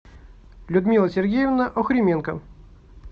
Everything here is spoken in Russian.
людмила сергеевна охрименко